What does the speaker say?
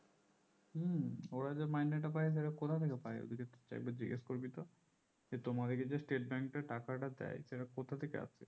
হম ওরা যে মাইনে টা পাই সেটা কথা থেকে পাই ওদিকে একবার জিজ্ঞেস করবি তো যে তোমাদিকে স্টেট bank টা টাকাটা দেয় সেটা কথা থেকে আসে